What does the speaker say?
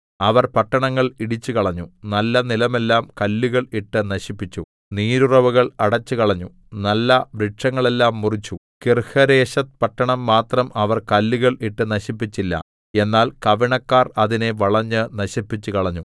അവർ പട്ടണങ്ങൾ ഇടിച്ചുകളഞ്ഞു നല്ല നിലമെല്ലാം കല്ലുകൾ ഇട്ട് നശിപ്പിച്ചു നീരുറവുകൾ അടച്ചുകളഞ്ഞു നല്ലവൃക്ഷങ്ങളെല്ലാം മുറിച്ചു കീർഹരേശെത്ത് പട്ടണം മാത്രം അവർ കല്ലുകൾ ഇട്ട് നശിപ്പിച്ചില്ല എന്നാൽ കവിണക്കാർ അതിനെ വളഞ്ഞ് നശിപ്പിച്ചുകളഞ്ഞു